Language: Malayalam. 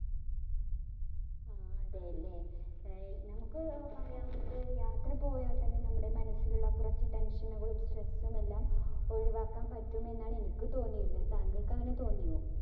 ആഹ് അതേലെ. ഏർ നമ്മുക്ക് പറയാവുന്നത് യാത്ര പോയാൽ തന്നെ നമ്മടെ മനസ്സിലുള്ള കുറച്ചു tension കുളം stress ഉം എല്ലാം ഒഴിവാക്കാൻ പറ്റുമെന്നാണ് എനിക്ക് തോനിയത്. താങ്കൾക്ക് അങ്ങിനെ തോന്നിയോ?